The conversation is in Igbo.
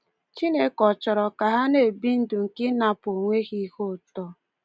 Chineke ọ chọrọ ka ha na-ebi ndụ nke ịnapụ onwe ha ihe ụtọ?